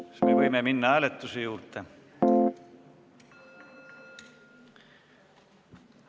Kas me võime minna hääletuse juurde?